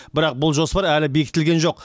бірақ бұл жоспар әлі бекітілген жоқ